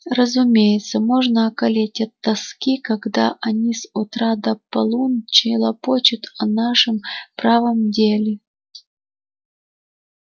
разумеется можно околеть от тоски когда они с утра до полуночи лопочут о нашем правом деле